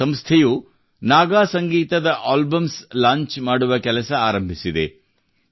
ಈ ಸಂಸ್ಥೆಯು ನಾಗ ಸಂಗೀತದ ಆಲ್ಬಮ್ಸ್ ಲಾಂಚ್ ಮಾಡುವ ಕೆಲಸ ಆರಂಭಿಸಿದೆ